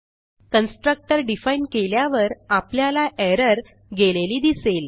constructor define केल्यावर आपल्याला error गेलेली दिसेल